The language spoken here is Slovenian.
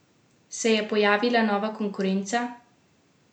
Se je pojavila nova konkurenca?